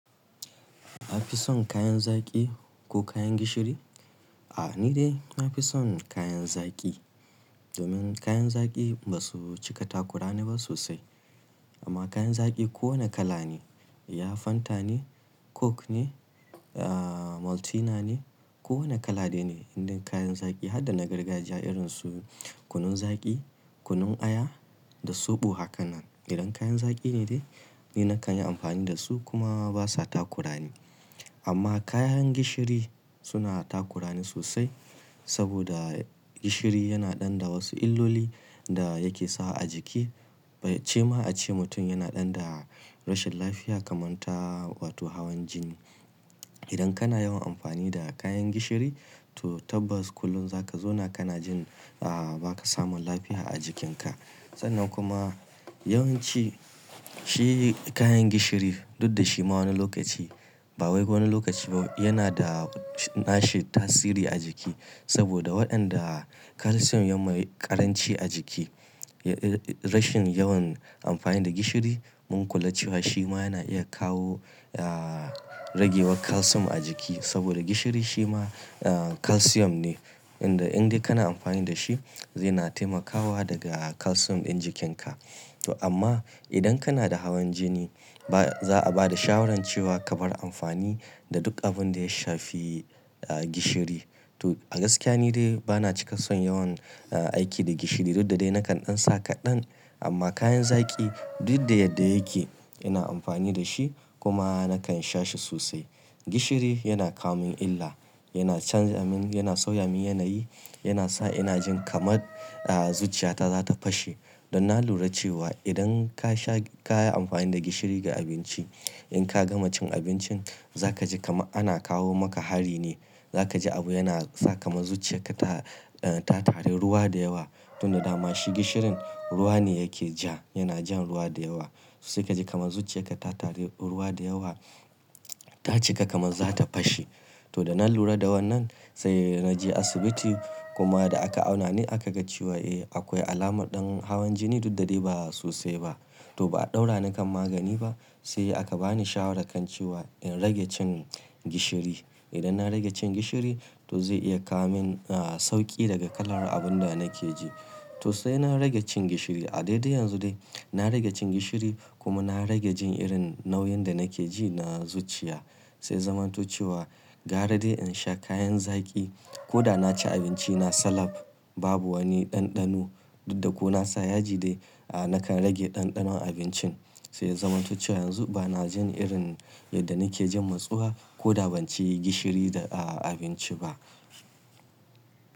Ka fi son kayan zaki ko kayan gishiri? A'a, ni dai na fi son kayan zaki. Domin kayan zaki ba su cika takurani ba sosai. Amma kayan zaki ko wane kala ne, ya Fanta ne, Coke ne, da Maltina ne, ko wane kala dai ne, indai kayan zaki har da na gargajiya irin su kunun zaki, kunun aya da soɓo, haka nan. Idan kayan zaki ne dai, ni na kan yi amfani da su kuma ba sa takurani. Amma kayan gishiri suna takurani sosai saboda gishiri yana ɗan da wasu illoli da yake sawa a jiki, bace ma a ce mutum yana ɗan da rashin lafiya kamar ta wato hawan jini. Idan kana yawan amfani da kayan gishiri, to tabbas kullum za ka zauna kana jin a ba ka samun lafiya a jikinka. Sannan kuma yawanci shi kayan gishiri duk da shi ma wani lokaci ba wai wani lokaci ba yana da nashi tasiri a jiki saboda waɗanda kalsiyom yana mai ƙaranci a jiki. Rashin yawan amfani da gishiri mun kula cewa shi ma yana iya kawo ya rage wa kalsiyom a jiki saboda gishiri shi ma ah kalsiyom ne. Inda indai kana amfani da shi zai na taimakawa daga kalsiyom ɗin jikinka. To amma idan kana da hawan jini, ba za a ba da shawarar cewa ka bar amfani da duk abun da ya shafi gishiri. To a gaskiya ni dai ba na cika son yawan aiki da gishiri duk da dai na kan ɗan sa kaɗan. Amma kayan zaki duk da yadda yake, ina amfani da shi kuma na kan sha shi sosai. Gishiri yana kawo min illa, yana canza min, yana sauya min yanayi, yana sa ina jin kamar a zuciyata za ta fashe. Don nan na lura cewa idan ka sha ka yi amfani da gishiri ga abinci, in ka gama cin abincin, za ka ji kama ana kawo maka hari ne. Za ka ji abu yana sa kamar zuciyarka ta ta tare ruwa da yawa. Don da dama shi gishirin ruwa ne yake ja, yana jan ruwa da yawa. Susai ka ji kamar zuciyarka ta tare ruwa da yawa, ta cika kamar za ta fashe. To da na lura da wannan sai na je asibiti kuma da aka auna ne aka ga cewa eh akwai alamar ɗan hawan jini duk da dai ba sosai ba. To ba a ɗaura ni kan magani ba, sai aka ba ni shawarar kan cewa in rage cin gishiri. Idan na rage cin gishiri, to zai iya kawo min a sauƙi daga kalar abun da nake ji. To sai na rage cin gishiri. A daidai yanzu dai na rage cin gishiri kuma na rage jin irin nauyin da nake ji na zuciya. Sai ya zamanto cewa gara dai in sha kayan zaki ko da na ci abinci na salam, babu wani ɗanɗano. Duk da ko na sa yaji dai, a nakan rage ɗanɗano abincin. Sai ya zamanto cewa yanzu ba na jin irin yadda nake jin matsuwa ko da ban ci gishiri da a abinci ba.